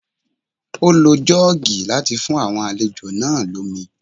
Ó lo Jọ́ọ́gì láti fún àwọn àlejò náà lómi